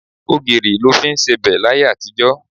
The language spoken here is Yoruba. Ogìrì lọ fí ń sebẹ̀ láyé àtijó.